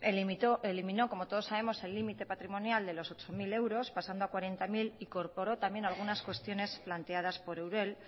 eliminó como todos sabemos el límite patrimonial de los ocho mil euros pasando a cuarenta mil e incorporó también algunas cuestiones planteadas por eudel